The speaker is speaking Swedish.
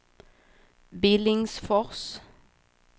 Billingsfors